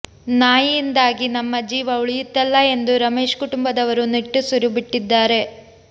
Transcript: ನಾಯಿಯಿಂದಾಗಿ ನಮ್ಮ ಜೀವ ಉಳಿಯಿತಲ್ಲಾ ಎಂದು ರಮೇಶ್ ಕುಟುಂಬದವರು ನಿಟ್ಟುಸಿರು ಬಿಟ್ಟಿದ್ದಾರೆ